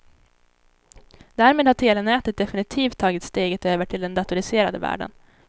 Därmed har telenätet definitivt tagit steget över till den datoriserade världen.